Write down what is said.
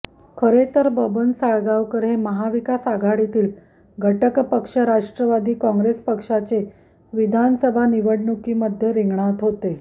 खरेतर बबन साळगावकर हे महाविकास आघाडीतील घटक पक्ष राष्ट्रवादी काँग्रेस पक्षाचे विधानसभा निवडणुकीमध्ये रिंगणात होते